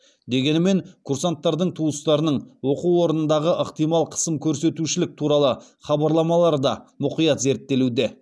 дегенімен курсанттардың туыстарының оқу орнындағы ықтимал қысым көрсетушілік туралы хабарламалары да мұқият зерттелуде